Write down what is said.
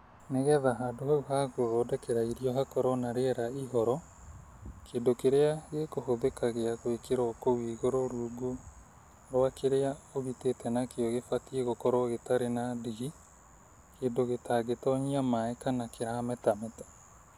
Nĩgetha handũ hau ha gũthondekera irio hakoragwo na rĩera ihoro kĩndũ kĩrĩa gĩkũhũthĩka gĩa gwĩkĩrwo kũu igũrũ rungu rwa kĩrĩa ũgitĩte nakĩo kibatiĩ gũkorwo gĩtarĩ na ndigi, kĩndũ gĩtangĩtonyia maaĩ na kĩrametameta.